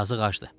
Yazıq acdı.